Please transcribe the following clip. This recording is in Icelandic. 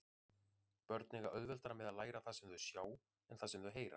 Börn eiga auðveldara með að læra það sem þau sjá en það sem þau heyra.